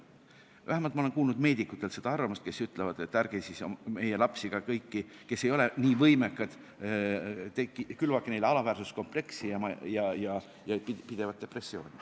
Vähemalt ma olen kuulnud meedikutelt seda arvamust, kes ütlevad, et ärge siis külvake meie lastele – ka kõigile, kes ei ole nii võimekad – alaväärsuskompleksi ja pidevat depressiooni.